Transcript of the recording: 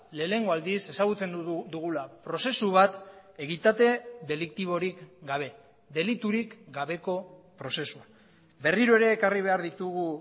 lehenengo aldiz ezagutzen dugula prozesu bat egitate deliktiborik gabe deliturik gabeko prozesua berriro ere ekarri behar ditugu